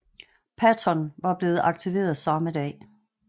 Patton var blevet aktiveret samme dag